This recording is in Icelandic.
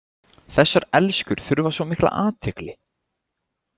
Þessar elskur þurfa svo mikla athygli.